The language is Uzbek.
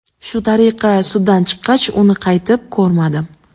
Shu tariqa suddan chiqqach, uni qaytib ko‘rmadim.